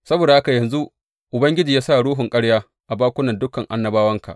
Saboda haka yanzu Ubangiji ya sa ruhun ƙarya a bakunan dukan annabawanka.